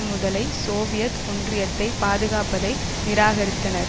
முதலை சோவியத் ஒன்றியத்தை பாதுகாப்பதை நிராகரித்தனர்